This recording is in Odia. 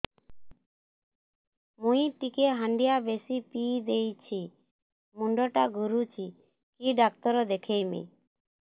ମୁଇ ଟିକେ ହାଣ୍ଡିଆ ବେଶି ପିଇ ଦେଇଛି ମୁଣ୍ଡ ଟା ଘୁରୁଚି କି ଡାକ୍ତର ଦେଖେଇମି